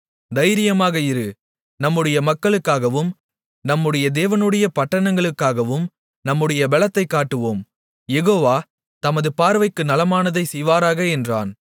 தைரியமாக இரு நம்முடைய மக்களுக்காகவும் நம்முடைய தேவனுடைய பட்டணங்களுக்காகவும் நம்முடைய பெலத்தைக் காட்டுவோம் யெகோவா தமது பார்வைக்கு நலமானதைச் செய்வாராக என்றான்